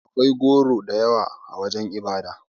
Akwai goro da yawa a wajen ibada.